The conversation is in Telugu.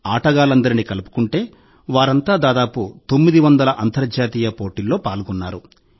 ఆటగాళ్లందరినీ కలుపుకుంటే వారంతా దాదాపు తొమ్మిది వందల అంతర్జాతీయ పోటీల్లో పాల్గొన్నారు